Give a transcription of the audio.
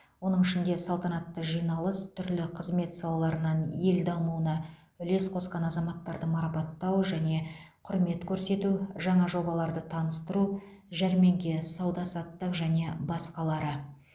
оның ішінде салтанатты жиналыс түрлі қызмет салаларынан ел дамуына үлес қосқан азаматтарды марапаттау және құрмет көрсету жаңа жобаларды таныстыру жәрмеңке сауда саттық және басқалары